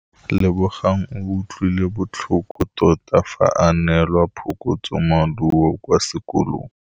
Lebogang o utlwile botlhoko tota fa a neelwa phokotsômaduô kwa sekolong.